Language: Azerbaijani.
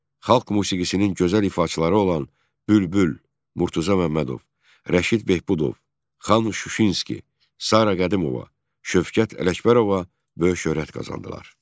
Xalq musiqisinin gözəl ifaçıları olan Bülbül, Murtuzə Məmmədov, Rəşid Behbudov, Xan Şuşinski, Sara Qədimova, Şövkət Ələkbərova böyük şöhrət qazandılar.